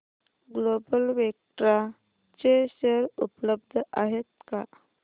global Vectra चे share उपलब्ध आहेत का